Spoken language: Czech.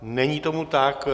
Není tomu tak.